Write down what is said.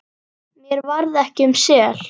Mér varð ekki um sel.